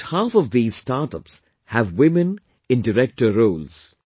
About half of these startups have women in director roles